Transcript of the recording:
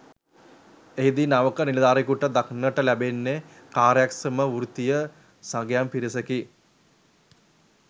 එහිදී නවක නිලධාරියෙකුට දක්නට ලැබෙන්නේ කාර්යක්ෂම වෘත්තීය සගයන් පිරිසකි.